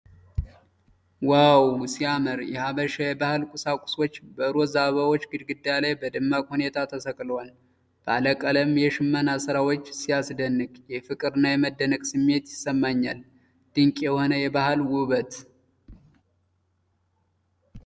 ዋው ሲያምር! የሐበሻ የባህል ቁሳቁሶች በሮዝ አበቦች ግድግዳ ላይ በደማቅ ሁኔታ ተሰቅለዋል። ባለቀለም የሽመና ሥራው ሲያስደንቅ! የፍቅርና የመደነቅ ስሜት ይሰማኛል። ድንቅ የሆነ የባህል ውበት!